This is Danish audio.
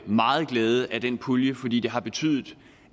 meget glæde af den pulje fordi det har betydet